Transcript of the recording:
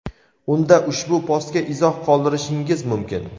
unda ushbu postga izoh qoldirishingiz mumkin.